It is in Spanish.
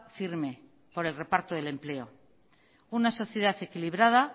firme por el reparto del empleo una sociedad equilibrada